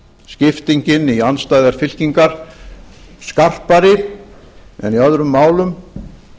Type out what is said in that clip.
skiptingin í andstæðar fylkingar skarpari en í öðrum málum